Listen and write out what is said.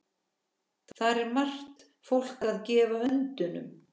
Þar er margt fólk að gefa öndunum.